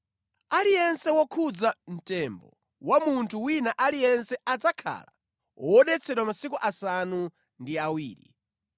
“Aliyense wokhudza mtembo wa munthu wina aliyense adzakhala wodetsedwa masiku asanu ndi awiri.